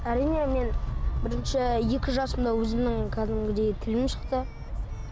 әрине мен бірінші екі жасымда өзімнің кәдімгідей тілім шықты